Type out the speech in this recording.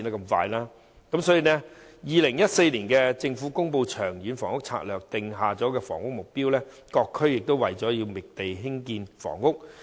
政府於2014年公布《長遠房屋策略》，訂下建屋目標，在各區覓地興建房屋。